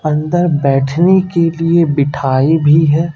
अंदर बैठने के लिए बिठाई भी है।